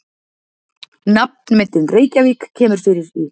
Nafnmyndin Reykjarvík kemur fyrir í